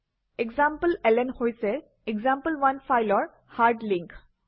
এসামপ্লেলন হৈছে এক্সাম্পল1 ফাইলৰ hard link